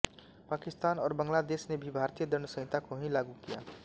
पाकिस्तान और बांग्लादेश ने भी भारतीय दण्ड संहिता को ही लागू किया